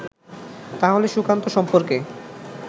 তাহলে সুকান্ত সম্পর্কে